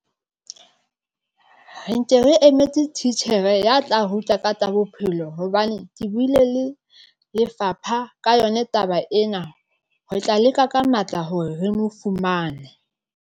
Re nke re emetse titjhere ya tla ruta ka tsa bophelo hobane ke buile le lefapha ka yona taba ena, re tla leka ka matla hore re mo fumane.